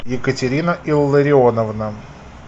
екатерина илларионовна